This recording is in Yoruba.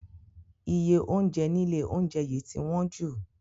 Iye oúnjẹ nílé oúnjẹ yìí ti wọ́n jù.